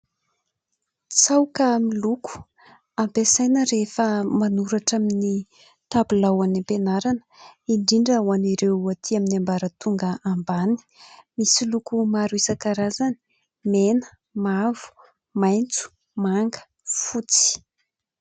Tsaoka miloko ampiasaina rehefa manoratra amin' ny tabilao any ampianarana ; indrindra ho an' ireo aty amin' ny ambaratonga ambany ; misy loko maro isankarazany : mena, mavo, maitso, manga, fotsy.